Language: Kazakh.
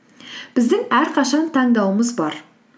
біздің әрқашан таңдауымыз бар